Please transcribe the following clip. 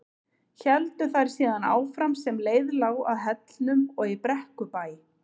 Héldu þær síðan áfram sem leið lá að Hellnum og í Brekkubæ.